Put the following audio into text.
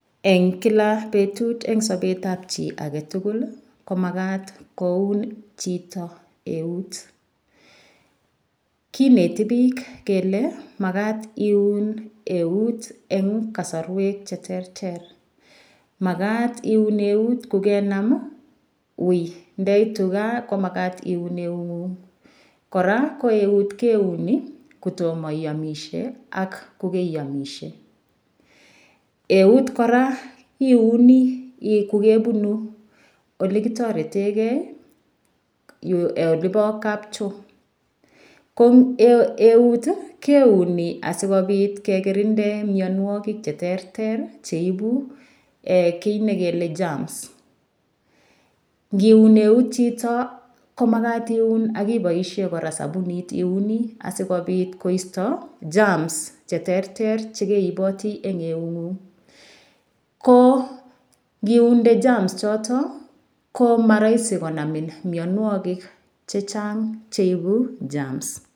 Eng' kila petut eng' sopet ab chi agetugul ko makat koun chito eut kineti piik kele makat iun eut en kasarwek cheterter makat iun eut ko kenam wiy ndeitu kaa ko makat iun eut ng'ung koraa ko eut keuni kotoma iamishe ak kogei amishe eut koraa iuni kogepunu ole kitoretegei yu olepo kapchoo ko eut keuni asikopit ke kirinde myanwogik cheterter cheipu kiy nekile germs ngiun eut chito ko makat iun kipoishe koraa sabunit iuni asikopit koisto germs cheterter chekeitiny eng' keunek guk ko ndiunde germs kopek ko maraisi konamin imianwogik chechang' cheipu germs.